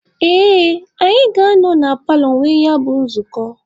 Ee, anyị ga-anọ na paalọ nwee ya bụ nzukọ.